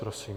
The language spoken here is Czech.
Prosím.